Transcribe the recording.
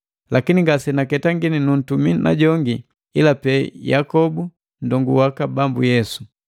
Lakini ngasenaketangini nuntumi najongi ila pee Yakobu, nndongu waka Bambu Yesu.